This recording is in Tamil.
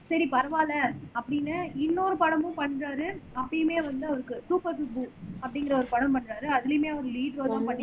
சரி பரவாயில்லை அப்படின்னு இன்னொரு படமும் பண்றாரு அப்பயுமே வந்து அவருக்கு சூப்பர் சூப்பர் சுப்பு அப்படிங்கிற ஒரு படம் பண்றாரு அதிலேயுமே அவர் லீடு ரோல் தான்பண்ணிருந்தாரு